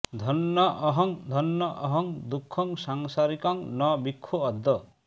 ধন্যঃ অহং ধন্যঃ অহং দুঃখং সংসারিকং ন বিক্ষে অদ্য